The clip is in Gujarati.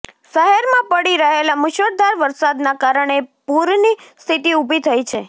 શહેરમાં પડી રહેલા મૂશળધાર વરસાદના કારણે પૂરની સ્થિતિ ઊભી થઈ છે